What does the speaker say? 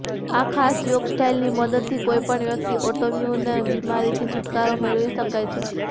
આ ખાસ યોગ સ્ટાઈલની મદદથી કોઈ પણ વ્યક્તિ ઑટોઈમ્યૂન બીમારીથી છૂટકારો મેળવી શકે છે